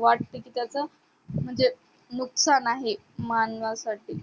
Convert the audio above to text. वाट कि त्याच म्हणजे नुकसान आहे मानवाससाठी